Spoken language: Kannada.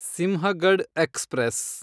ಸಿಂಹಗಡ್ ಎಕ್ಸ್‌ಪ್ರೆಸ್